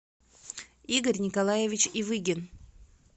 игорь николаевич ивыгин